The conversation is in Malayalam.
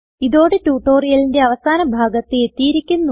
ഇതോടെ ട്യൂട്ടോറിയലിന്റെ അവസാന ഭാഗത്ത് എത്തിയിരിക്കുന്നു